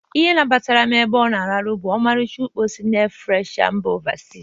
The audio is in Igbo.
Ihe nabatara m ebe ọ na-arahụ bụ ọmaricha ukpo si na ee freshna sị mba ofesi.